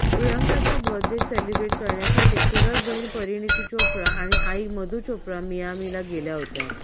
प्रियंकाचा birthday celebrate करण्यासाठी चुलत बहीण परिणीती चोप्रा आणि आई मधु चोप्रा मियामीला गेल्या होत्या